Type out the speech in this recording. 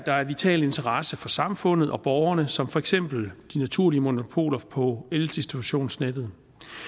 der er af vital interesse for samfundet og borgerne som for eksempel naturlige monopoler på eldistributionsnettet